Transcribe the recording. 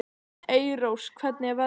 Elírós, hvernig er veðrið úti?